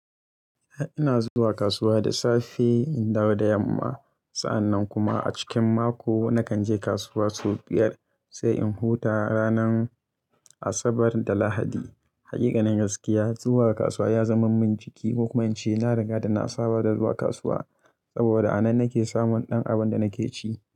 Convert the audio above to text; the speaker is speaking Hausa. Ina zuwa kasuwa da safe in dawo da yamma. Sa'annan kuma a cikin mako nakan je kasuwa sau biyar sai in huta ranar Asabar da Lahadi. Haƙiƙanin gaskiya, zuwa kasuwa ya zama min jiki. Kokuma ince, na riga da na saba da zuwa kasuwa saboda a nan nake samun ɗan abin da nake ci.